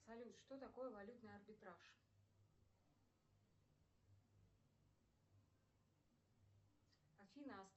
салют что такое валютный арбитраж афина